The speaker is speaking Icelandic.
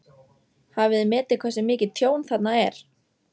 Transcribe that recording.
Hafið þið metið hversu mikið tjón þarna er?